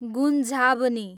गुन्जाभ्नी